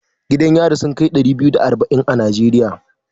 Gidan yari sun kai ɗari biyu da arba'in a Najeriya.